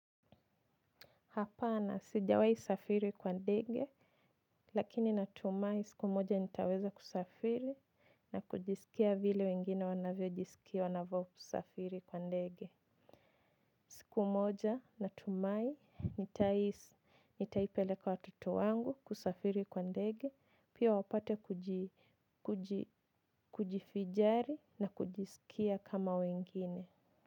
Hapana sijawai safiri kwa ndege lakini natumai siku moja nitaweza kusafiri na kujisikia vile wengine wanavyo jisikia wanavo safiri kwa ndege. Siku moja natumai nitaipeleka watoto wangu kusafiri kwa ndege pia wapate kujifijari na kujisikia kama wengine.